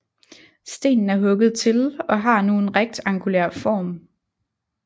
Stenen er hugget til og har nu en rektangulær form